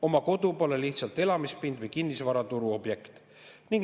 Oma kodu pole lihtsalt elamispind või kinnisvaraturu objekt.